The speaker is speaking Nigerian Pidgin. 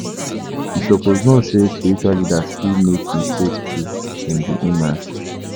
You suppose know sey spiritual leaders fit make mistake too, dem be humans.